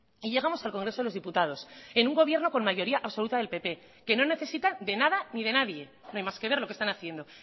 y llegamos al congreso de los diputados en un gobierno con mayoría absoluta del pp que no necesitan de nada ni de nadie no hay más que ver lo que están haciendo